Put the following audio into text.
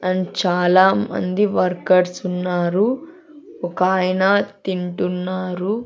And చాలామంది workers ఉన్నారు ఒకాయన తింటున్నారు.